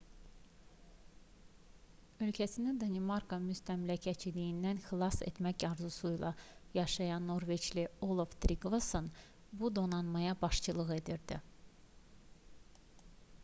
ölkəsini danimarka müstəmləkəçiliyindən xilas etmək arzusuyla yaşayan norveçli olav triqvason bu donanmaya başçılıq edirdi